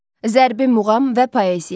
Zərbi muğam və poeziya.